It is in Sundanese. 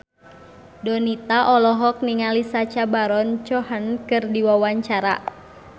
Donita olohok ningali Sacha Baron Cohen keur diwawancara